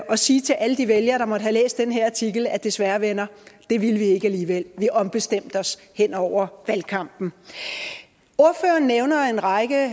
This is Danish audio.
at sige til alle de vælgere der måtte have læst den her artikel desværre venner det ville vi ikke alligevel vi ombestemte os hen over valgkampen ordføreren nævner en række